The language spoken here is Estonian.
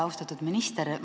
Austatud minister!